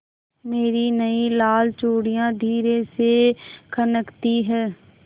मेरी नयी लाल चूड़ियाँ धीरे से खनकती हैं